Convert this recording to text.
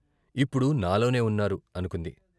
ఇప్పుడు నాలోనే ఉన్నారు " అనుకుంది.